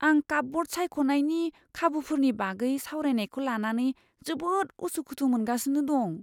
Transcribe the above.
आं कापब'र्ड सायख'नायनि खाबुफोरनि बागै सावरायनायखौ लानानै जोबोद उसुखुथु मोनगासिनो दं।